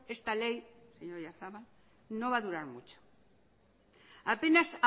esta ley señor oyarzabal no va a durar mucho apenas